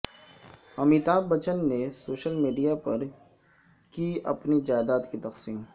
امیتابھ بچن نے social media پر کی اپنی جائیداد کی تقسیم